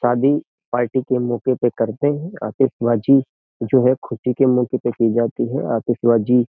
शादी पार्टी के मौके पे करते है आतिशबाजी जो है ख़ुशी के मौके पे की जाती है आतिशबाजी।